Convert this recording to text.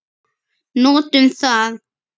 Notum það.